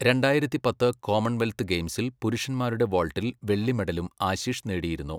രണ്ടായിരത്തി പത്ത് കോമൺവെൽത്ത് ഗെയിംസിൽ പുരുഷന്മാരുടെ വോൾട്ടിൽ വെള്ളി മെഡലും ആശിഷ് നേടിയിരുന്നു.